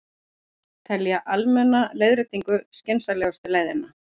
Telja almenna leiðréttingu skynsamlegustu leiðina